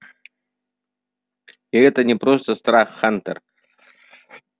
и это не просто страх хантер